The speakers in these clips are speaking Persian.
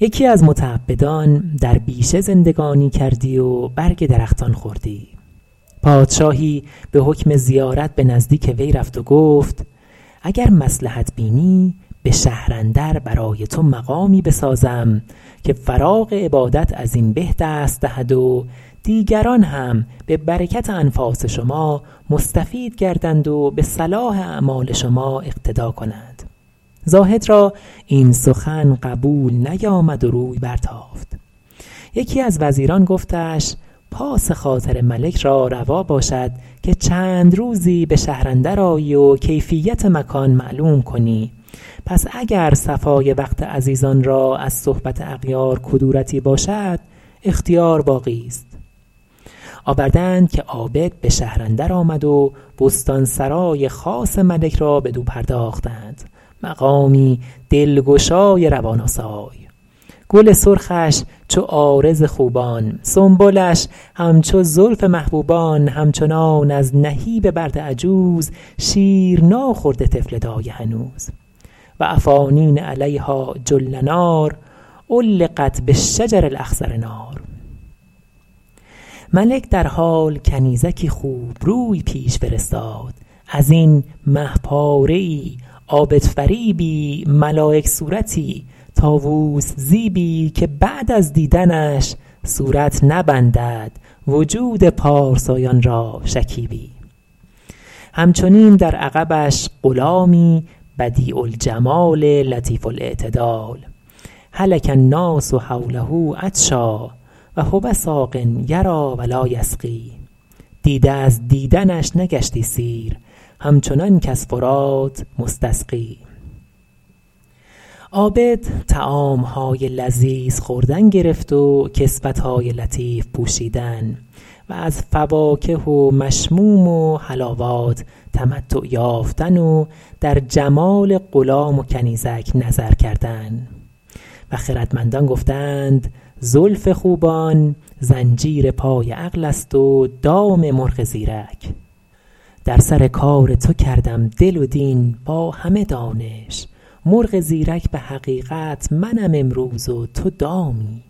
یکی از متعبدان در بیشه زندگانی کردی و برگ درختان خوردی پادشاهی به حکم زیارت به نزدیک وی رفت و گفت اگر مصلحت بینی به شهر اندر برای تو مقامی بسازم که فراغ عبادت از این به دست دهد و دیگران هم به برکت انفاس شما مستفید گردند و به صلاح اعمال شما اقتدا کنند زاهد را این سخن قبول نیامد و روی برتافت یکی از وزیران گفتش پاس خاطر ملک را روا باشد که چند روزی به شهر اندر آیی و کیفیت مکان معلوم کنی پس اگر صفای وقت عزیزان را از صحبت اغیار کدورتی باشد اختیار باقیست آورده اند که عابد به شهر اندر آمد و بستان سرای خاص ملک را بدو پرداختند مقامی دلگشای روان آسای گل سرخش چو عارض خوبان سنبلش همچو زلف محبوبان همچنان از نهیب برد عجوز شیر ناخورده طفل دایه هنوز و افانین علیها جلنار علقت بالشجر الاخضر نار ملک درحال کنیزکی خوبروی پیش فرستاد ازین مه پاره ای عابدفریبی ملایک صورتی طاووس زیبی که بعد از دیدنش صورت نبندد وجود پارسایان را شکیبی همچنین در عقبش غلامی بدیع الجمال لطیف الاعتدال هلک الناس حوله عطشا و هو ساق یریٰ و لاٰ یسقی دیده از دیدنش نگشتی سیر همچنان کز فرات مستسقی عابد طعام های لذیذ خوردن گرفت و کسوت های لطیف پوشیدن و از فواکه و مشموم و حلاوات تمتع یافتن و در جمال غلام و کنیزک نظر کردن و خردمندان گفته اند زلف خوبان زنجیر پای عقل است و دام مرغ زیرک در سر کار تو کردم دل و دین با همه دانش مرغ زیرک به حقیقت منم امروز و تو دامی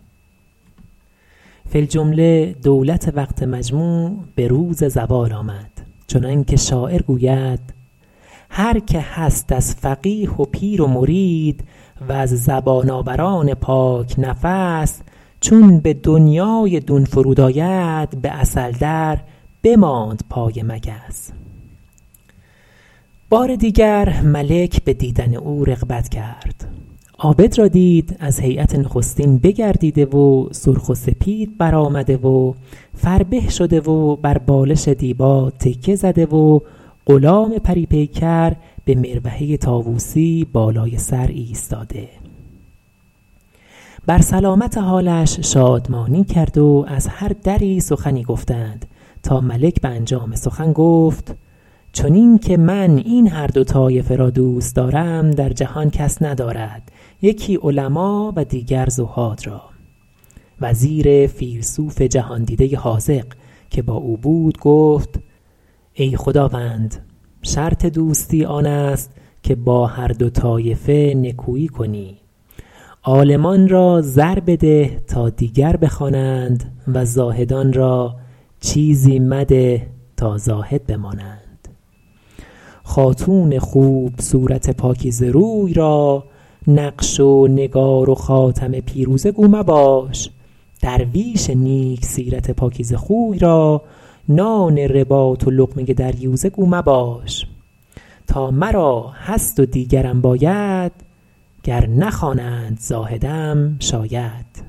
فی الجمله دولت وقت مجموع به روز زوال آمد چنان که شاعر گوید هر که هست از فقیه و پیر و مرید وز زبان آوران پاک نفس چون به دنیای دون فرود آید به عسل در بماند پای مگس بار دیگر ملک به دیدن او رغبت کرد عابد را دید از هیأت نخستین بگردیده و سرخ و سپید بر آمده و فربه شده و بر بالش دیبا تکیه زده و غلام پری پیکر به مروحه طاووسی بالای سر ایستاده بر سلامت حالش شادمانی کرد و از هر دری سخن گفتند تا ملک به انجام سخن گفت چنین که من این هر دو طایفه را دوست دارم در جهان کس ندارد یکی علما و دیگر زهاد را وزیر فیلسوف جهاندیده حاذق که با او بود گفت ای خداوند شرط دوستی آن است که با هر دو طایفه نکویی کنی عالمان را زر بده تا دیگر بخوانند و زاهدان را چیزی مده تا زاهد بمانند خاتون خوب صورت پاکیزه روی را نقش و نگار و خاتم پیروزه گو مباش درویش نیک سیرت پاکیزه خوی را نان رباط و لقمه دریوزه گو مباش تا مرا هست و دیگرم باید گر نخوانند زاهدم شاید